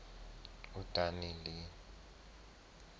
udanile